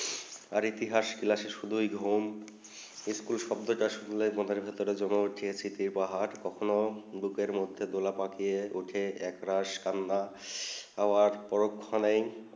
আর ইতিহাস ক্লাসে শুধু ঘুম স্কুল স্বত্ব তা শুনলে মনে উঠে চিত্রে পাহাড় কখনো বুকে মাঠে দোলা পাখিয়ে উঠে একরাশ কান্না আবার পরোক্ষ নেই